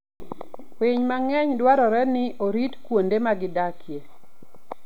Winy mang'eny dwarore ni orit kuonde ma gidakie.